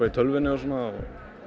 í tölvunni og svona